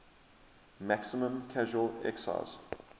maximum casual excise